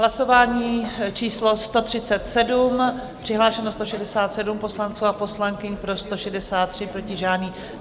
Hlasování číslo 137, přihlášeno 167 poslanců a poslankyň, pro 163, proti žádný.